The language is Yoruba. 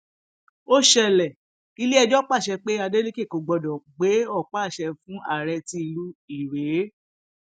ó ṣẹlẹ iléẹjọ pàṣẹ pé adélèkẹ kò gbọdọ gbé ọpá àṣẹ fún aree ti ìlú irèé